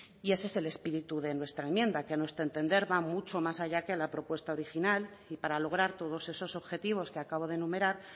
y ese es el espíritu de nuestra enmienda que a nuestro entender va mucho más allá que la propuesta original y para lograr todos esos objetivos que acabo de enumerar